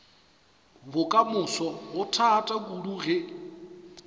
bokamoso go thata kudu ge